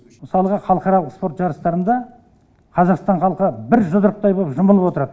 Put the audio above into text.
мысалға халықаралық спорт жарыстарында қазақстан халқы бір жұдырықтай болып жұмылып отырады